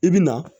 I bi na